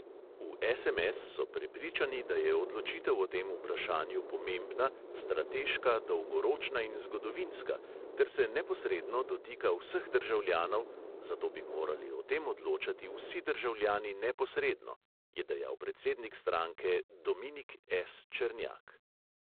V SMS so prepričani, da je odločitev o tem vprašanju pomembna, strateška, dolgoročna in zgodovinska ter se neposredno dotika vseh državljanov, zato bi morali o tem odločati vsi državljani neposredno, je dejal predsednik stranke dominik S černjak.